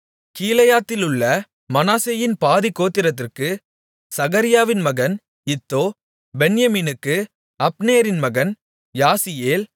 கீலேயாத்திலுள்ள மனாசேயின் பாதிக்கோத்திரத்திற்கு சகரியாவின் மகன் இத்தோ பென்யமீனுக்கு அப்னேரின் மகன் யாசியேல்